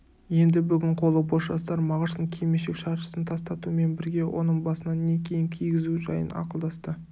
енді бүгін қолы бос жастар мағыштың кимешек-шаршысын тастатумен бірге оның басына не киім кигізу жайын ақылдасты